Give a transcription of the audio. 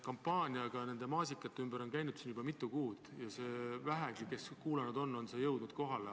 Kampaania maasikate ümber on kestnud juba mitu kuud ja neile, kes vähegi kuulanud on, on see kohale jõudnud.